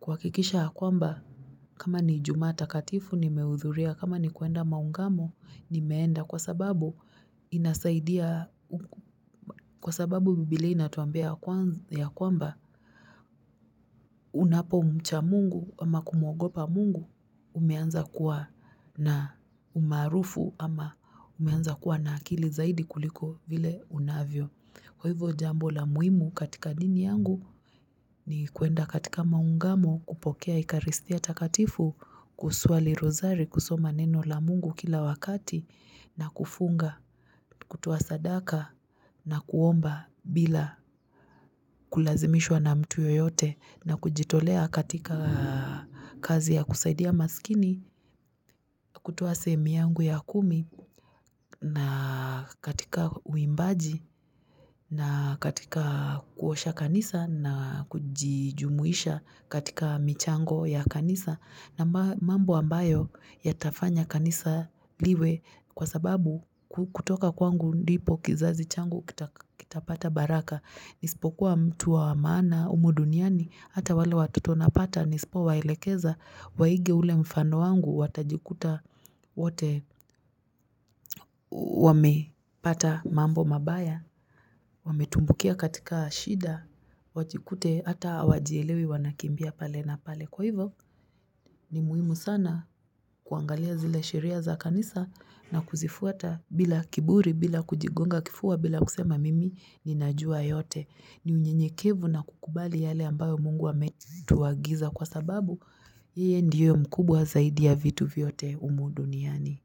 kuhakikisha ya kwamba kama ni ijumaa takatifu nimehudhuria kama ni kuenda maungamo nimeenda kwa sababu inasaidia kwa sababu bibilia inatuambia ya kwamba ya kwamba unapomcha mungu ama kumuogopa mungu umeanza kuwa na umaarufu ama umeanza kuwa na akili zaidi kuliko vile unavyo. Kwa hivo jambo la muhimu katika dini yangu ni kuenda katika maungamo kupokea ikaristia takatifu kusuali rozari kusoma neno la mungu kila wakati na kufunga, kutoa sadaka na kuomba bila kulazimishwa na mtu yoyote na kujitolea katika kazi ya kusaidia maskini, kutuwa sehemu yangu ya kumi na katika uimbaji na katika kuosha kanisa na kujijumuisha katika michango ya kanisa na mambo ambayo yatafanya kanisa liwe kwa sababu kutoka kwangu ndipo kizazi changu kitapata baraka. Nisipokuwa mtu wa maana humu duniani hata wale watoto napata nisipo waelekeza waige ule mfano wangu watajikuta wote wamepata mambo mabaya, wametumbukia katika shida wajikute hata wajielewi wanakimbia pale na pale Kwa hivyo ni muhimu sana kuangalia zile sheria za kanisa na kuzifuata bila kiburi bila kujigonga kifua bila kusema mimi ninajua yote ni unyenyekevu na kukubali yale ambayo mungu ametuagiza kwa sababu yeye ndio mkubwa zaidi ya vitu vyote humu duniani.